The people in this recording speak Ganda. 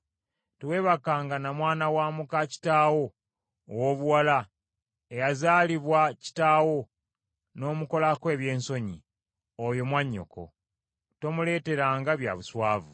“ ‘Teweebakanga na mwana wa muka kitaawo ow’obuwala eyazaalibwa kitaawo n’omukolako ebyensonyi; oyo mwannyoko. Tomuleeteranga bya buswavu.